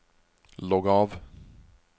logg av